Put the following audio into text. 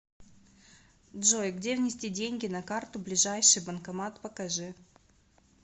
джой где внести деньги на карту ближайший банкомат покажи